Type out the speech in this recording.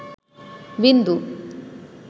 বিন্দু